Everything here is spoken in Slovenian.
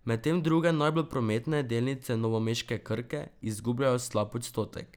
Medtem druge najbolj prometne, delnice novomeške Krke, izgubljajo slab odstotek.